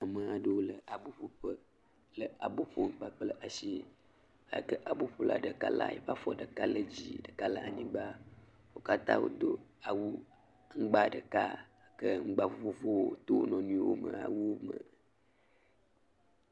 Ame aɖewo le aboƒoƒe le abo ƒom kpakple ashi eyi ke aboƒola ɖeka la eƒe afɔ ɖeka le dzii, ɖeka le anyigba. Wo katã wodo awu ŋgba ɖeka ke ŋgba vovovowo to wo nɔnɔewo me awuwo me.